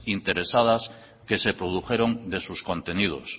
interesadas que se produjeron de sus contenidos